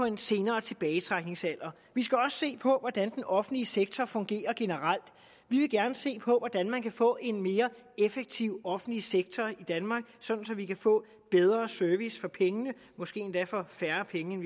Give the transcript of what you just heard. en senere tilbagetrækningsalder vi skal også se på hvordan den offentlige sektor fungerer generelt vi vil gerne se på hvordan man kan få en mere effektiv offentlig sektor i danmark sådan at vi kan få en bedre service for pengene måske endda for færre penge end